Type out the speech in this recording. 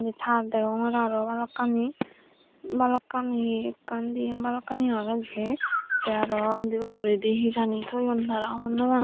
tar degongor aro balukkani balukkani ekkan dian balukkani age jia te aro undi ugurendi hejani toyon tara honnopang.